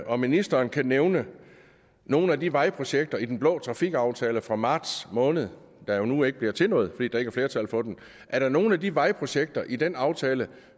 om ministeren kan nævne nogle af de vejprojekter i den blå trafikaftale fra marts måned der jo nu ikke bliver til noget fordi der ikke er flertal for dem er der nogle af de vejprojekter i den aftale